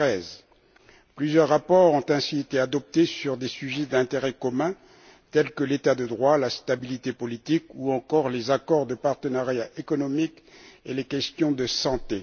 2013. Plusieurs rapports ont ainsi été adoptés sur des sujets d'intérêt commun tels que l'état de droit, la stabilité politique, ou encore les accords de partenariat économique et les questions de santé.